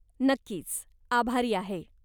नक्कीच. आभारी आहे.